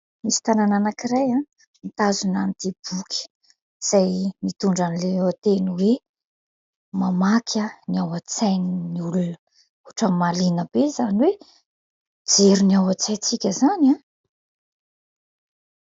Misy tanana anankiray mitazona an'ity boky, izay mitondra ny lohateny hoe : "mamaky ny ao an-tsain'ny olona" ohatran'ny mahaliana be izany hoe mijery ny ao an-tsaintsika izany a !